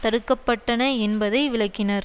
தடுக்கப்பட்டன என்பதை விளக்கினார்